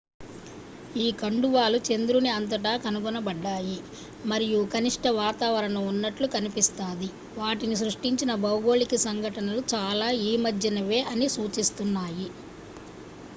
ఈ కండువాలు చంద్రుని అంతటా కనుగొనబడ్డాయి మరియు కనిష్ట వాతావరణం ఉన్నట్లు కనిపిస్తాది వాటిని సృష్టించిన భౌగోళిక సంఘటనలు చాలా ఈమధ్యనేవే అని సూచిస్తున్నాయి